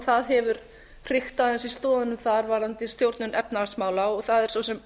það hefur hrikt aðeins í stoðunum þar varðandi stjórnun efnahagsmála og það er svo sem